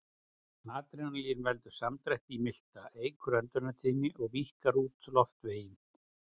Adrenalín veldur samdrætti í milta, eykur öndunartíðni og víkkar út loftveginn.